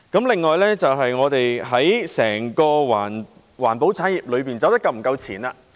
另一問題是，我們的整個環保產業是否走得夠前。